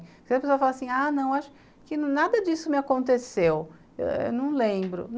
Porque as pessoas falam assim, ah não, acho que nada disso me aconteceu, eu não lembro.